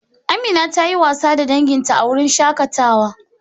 Amina ta yi wasa da danginta a wurin shakatawa.